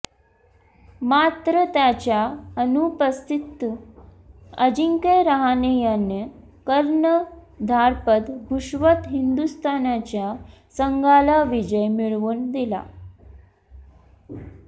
मात्र त्याच्या अनुपस्थितीत अजिंक्य रहाणे यानं कर्णधारपद भूषवत हिंदुस्थानच्या संघाला विजय मिळवून दिला